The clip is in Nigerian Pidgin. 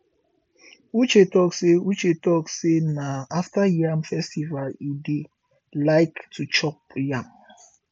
uche talk say uche talk say na after yam festival e dey like to chop yam